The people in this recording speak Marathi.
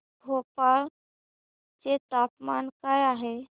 भोपाळ चे तापमान काय आहे